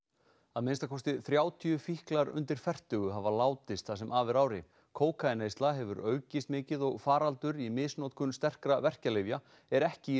að minnsta kosti þrjátíu fíklar undir fertugu hafa látist það sem af er ári kókaínneysla hefur aukist mikið og faraldur í misnotkun sterkra verkjalyfja er ekki